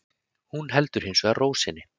Hún heldur hins vegar ró sinni